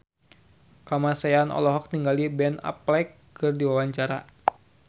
Kamasean olohok ningali Ben Affleck keur diwawancara